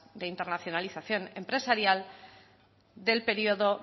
de internacionalización empresarial del periodo